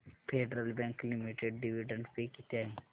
federal Bank Limited dividend pay किती आहे